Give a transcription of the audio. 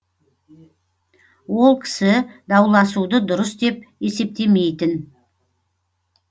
ол кісі дауласуды дұрыс деп есептемейтін